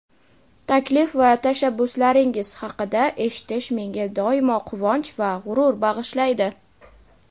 taklif va tashabbuslaringiz haqida eshitish menga doimo quvonch va g‘urur bag‘ishlaydi.